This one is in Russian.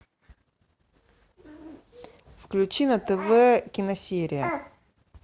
включи на тв киносерия